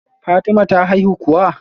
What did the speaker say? Fatima ta haihu kuwa?